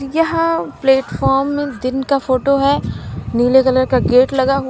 यहां प्लेटफॉर्म दिन का फोटो हैं नीले कलर का गेट लगा--